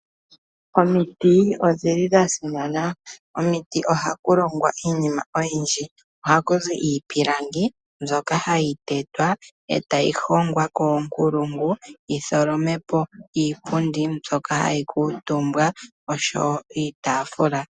Omiti odhili dhasimana, omiti ohaku longwa iinima oyindji. Ohaku zi iipilangi mbyoka hayi te twa etayi hongwa koonkulungu yi tholome po iipundi mbyoka hayi kuutumbwa noshoo woo iitaafula.